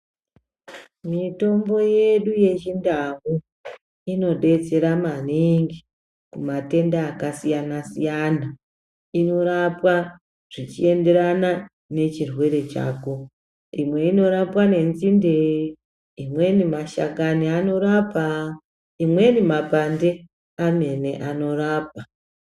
Mitombo yedu yechindau inodetsera maningi kumatenda akasiyana siyana. lnorapa zvichienderana nechirwere chako. lmwe inorapa nenzinde, imweni mashakani anorapa, imweni mapande amene anorapa.